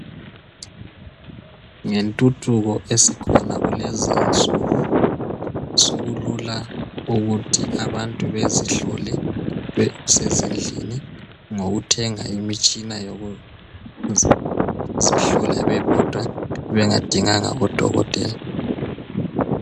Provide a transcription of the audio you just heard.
Ngentuthuko esikhona kulezi insuku sokulula ukuthi abantu bezihlole besezindlini ngokuthenga imitshina yokuzihlola bebodwa bengadinganga odokotela.